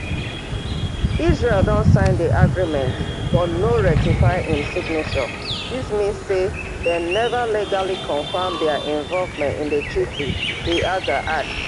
israel don sign di agreement but no ratify im signature dis mean say dem neva legally confam dia involvement in di treaty di aca add